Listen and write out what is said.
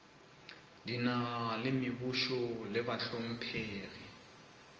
dinaga le mebušo le bahlomphegi